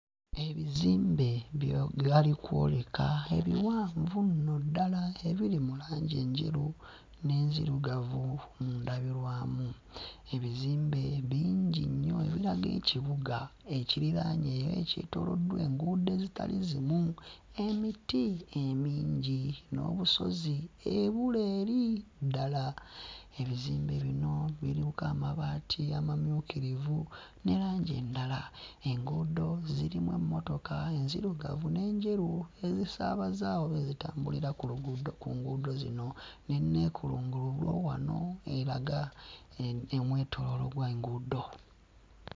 Ebizimbe byo galikwoleka ebiwanvu nno ddala ebiri mu langi enjeru n'enzirugavu mu ndabirwamu. Ebizimbe bingi nnyo ebiraga ekibuga ekiriraanye oba ekyetoolodde enguudo ezitali zimu, emiti emingi n'obusozi ebule eri ddala. Ebizimbe bino biriko amabaati amamyukirivu ne langi endala, enguudo zirimu emmotoka enzirugavu n'enjeru ezisaabaza oba ezitambulira ku lugudo ku nguudo zino n'enneekulungulugo wano eraga eh omwetooloolo gw'enguudo